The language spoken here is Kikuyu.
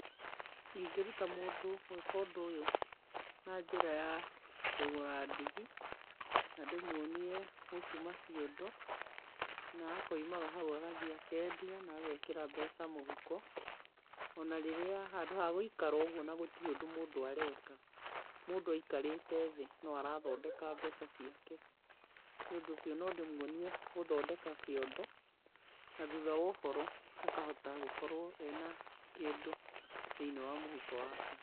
Ingĩruta mũndũ gwĩka ũndũ ũyũ na njĩra ya kũgũra ndigi, na ndĩmuonie gũtuma ciondo, na akoimaga hau agathiĩ akendia na agekĩra mbeca mũhuko. Ona rĩrĩa handũ ha gũikara ũguo na gũtirĩ ũndũ mũndũ areka, mũndũ aikarĩte thĩ, no arathondeka mbeca ciake. Nĩ ũndũ ũcio no ndĩmuonie gũthondeka kĩondo, na thutha wa ũhoro, akahota gũkorũo e na kĩndũ thĩinĩ wa mũhuko wake.